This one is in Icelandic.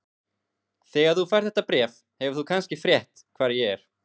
Þegar þú færð þetta bréf hefur þú kannski frétt hvar ég er.